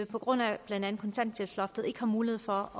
på grund af blandt andet kontanthjælpsloftet ikke har mulighed for